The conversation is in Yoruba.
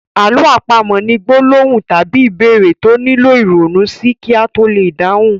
Àlọ́ àpamọ̀ ni gbólóhùn tàbí ìbéèrè tó nílò ìronú sí kí a to lè dáhùn.